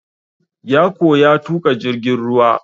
Ya koya tuƙa jirgin ruwa.